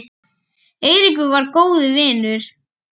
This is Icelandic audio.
Eiríkur var góður vinur.